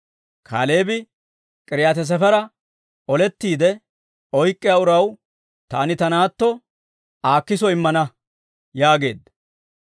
Kaaleebi, «K'iriyaati-Sefera olettiide oyk'k'iyaa uraw taani ta naatto Aakiso immana» yaageedda.